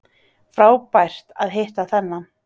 Frábært að hitta þennan